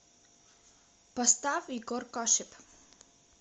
поставь егоркашип